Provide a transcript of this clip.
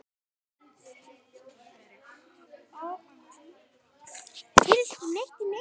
Þakka þér fyrir það.